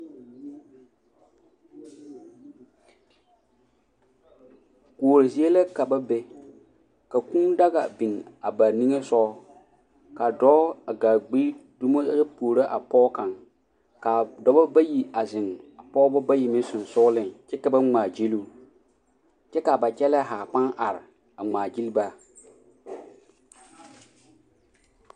Kuori zie la ka ba be ka kūū daɡa a biŋ ba niŋe soɡa ka dɔɔ a ɡaa ɡbi dumo a puoro a pɔɡe kaŋ ka dɔbɔ bayi a zeŋ a pɔɡebɔ bayi sensooleŋ kyɛ ka ba ŋmaaɡyili o kyɛ ka ba kyɛlɛɛ ha pãã are a ŋmaaɡyili ba.